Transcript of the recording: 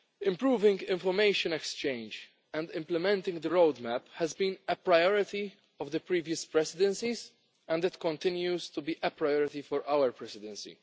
Improving information exchange and implementing the roadmap has been a priority of the previous Presidencies and it continues to be a priority for our Presidency.